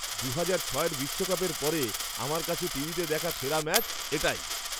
দু'হাজার ছয়ের বিশ্বকাপের পরে আমার কাছে টিভিতে দেখা সেরা ম্যাচ এটাই।